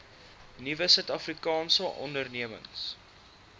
nuwe suidafrikaanse ondernemings